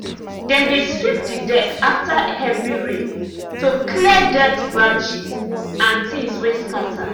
dem dey sweep the deck after heavy rain to clear dirt branches and things wey scatter.